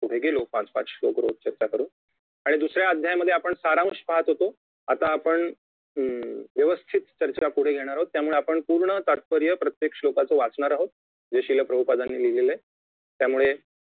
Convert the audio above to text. पुढे गेलो पाच पाच श्लोक रोज चर्चा करुन आणि दुसऱ्या अध्यायामध्ये आपण सारांश पाहत होतो आता आपण अं व्यवस्थित चर्चा पुढे घेणार आहोत त्यामुळे पूर्ण तात्पर्य प्रत्येक श्लोकाचे वाचणार आहोत जे शिलाप्रभुपदांनी लिहलेले आहे त्यामुळे